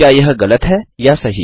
क्या यह गलत है या सही